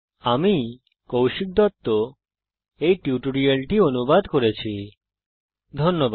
আমি কৌশিক দত্ত এই টিউটোরিয়াল টি অনুবাদ করেছি এতে অংশগ্রহন করার জন্য ধন্যবাদ